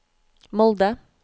Molde